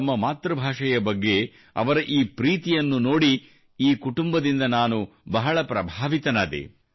ತಮ್ಮ ಮಾತೃಭಾಷೆಯ ಬಗ್ಗೆ ಅವರ ಈ ಪ್ರೀತಿಯನ್ನು ನೋಡಿ ಈ ಕುಟುಂಬದಿಂದ ನಾನು ಬಹಳ ಪ್ರಭಾವಿತನಾದೆ